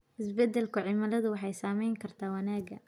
Isbeddelka cimiladu waxay saameyn kartaa wanaagga.